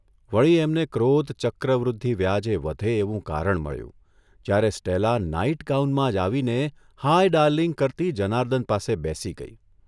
વળી એમને ક્રોધ ચક્રવૃદ્ધિ વ્યાજે વધે એવું કારણ મળ્યું જ્યારે સ્ટેલા નાઇટ ગાઉનમાં જ આવીને ' હાય ડાર્લિંગ ' કરતી જનાર્દન પાસે બેસી ગઇ.